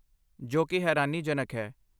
ਜੋ ਕਿ ਹੈਰਾਨੀਜਨਕ ਹੈ